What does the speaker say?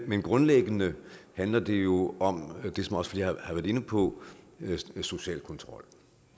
men grundlæggende handler det jo om det som også flere har været inde på social kontrol